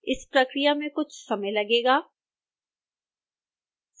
इस प्रक्रिया में कुछ समय लगेगा